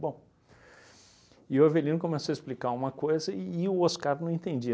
Bom, e o Avelino começou a explicar uma coisa e o Oscar não entendia.